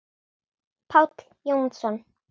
Páll Jónsson